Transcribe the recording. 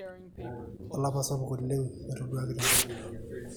Olapa sapuk oleng etoduaki tenkop.